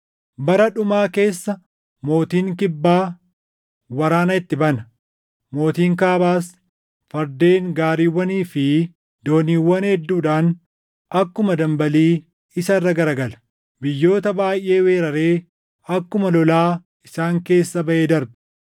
“Bara dhumaa keessa mootiin Kibbaa waraana itti bana; mootiin Kaabaas fardeen, gaariiwwanii fi dooniiwwan hedduudhaan akkuma dambalii isa irra garagala. Biyyoota baayʼee weeraree akkuma lolaa isaan keessa baʼee darba.